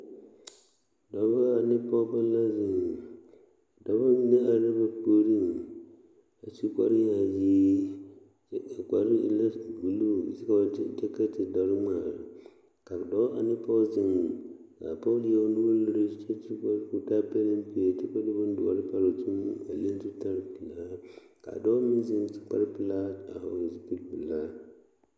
Dɔbɔ ane pɔɡebɔ la zeŋ a dɔbɔ mine arɛɛ ba puoriŋ a su kparyaayi kyɛ a kpare e la buluu kyɛ ka ba te de kɛtedɔre ŋmaa ka dɔɔ ane pɔɡe zeŋ ka a pɔɡe leɛ o nuuri liri kyɛ ka o taa palpie kyɛ ka o de bondoɔre pare o zuiŋ a leŋ zutalpelaa ka dɔɔ meŋ zeŋ su kparpelaa a hɔɔle zupilipelaa.